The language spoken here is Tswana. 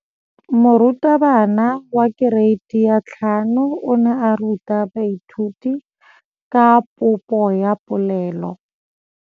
Moratabana wa kereiti ya 5 o ne a ruta baithuti ka popô ya polelô.